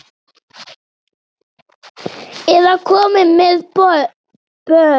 Eða komin með börn?